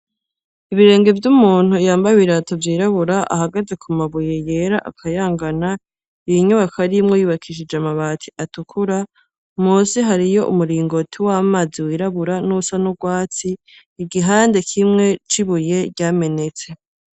Ibirenge vy'umuntu yambaye ibirato vyirabura ahagaze ku mabuye yera akayangana, iyinyubaka arimwe yubakishije amabati atukura, musi hariyo umuringoti w'amazi wirabura n'usa n'urwatsi, igihande kimwe cibuye ryamenetse.